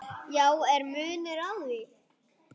Já, er munur á því?